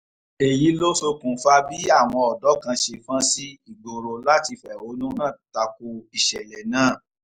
èyí ló ṣokùnfà bí àwọn ọ̀dọ́ kan ṣe fọ́n sí ìgboro láti fẹ̀hónú hàn ta ko ìṣẹ̀lẹ̀ náà